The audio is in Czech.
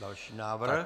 Další návrh.